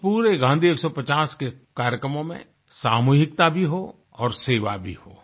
इस पूरे गाँधी 150 के कार्यक्रमों में सामूहिकता भी हो और सेवा भी हो